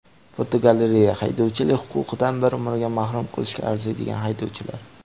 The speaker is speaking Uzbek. Fotogalereya: Haydovchilik huquqidan bir umrga mahrum qilishga arziydigan haydovchilar.